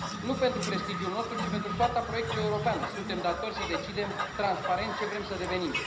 Nu pentru prestigiul nostru, ci pentru soarta proiectului european, suntem datori să decidem transparent ce vrem să devenim.